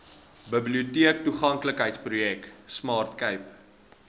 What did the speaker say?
biblioteektoeganklikheidsprojek smart cape